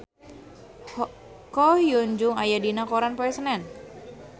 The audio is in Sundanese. Ko Hyun Jung aya dina koran poe Senen